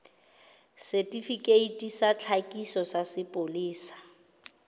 setifikeiti sa tlhakiso sa sepolesa